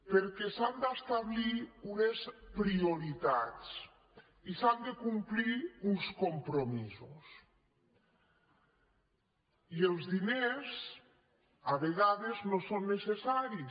perquè s’han d’establir unes prioritats i s’han de complir uns compromisos i els diners a vegades no són necessaris